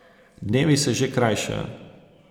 Dnevi se že krajšajo.